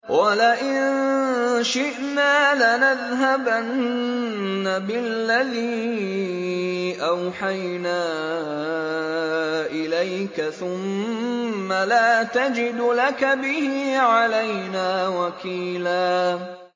وَلَئِن شِئْنَا لَنَذْهَبَنَّ بِالَّذِي أَوْحَيْنَا إِلَيْكَ ثُمَّ لَا تَجِدُ لَكَ بِهِ عَلَيْنَا وَكِيلًا